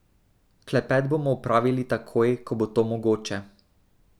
Klepet bomo opravili takoj, ko bo to mogoče.